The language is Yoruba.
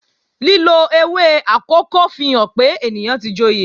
Lílo ewé akòko fihàn pé èèyàn tí joyè